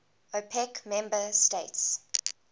opec member states